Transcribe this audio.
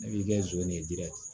Ne b'i kɛ zon ye jiri